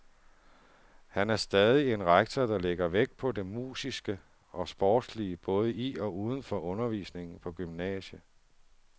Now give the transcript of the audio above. Her er han stadig en rektor, der lægger vægt på det musiske og sportslige både i og uden for undervisningen på gymnasiet.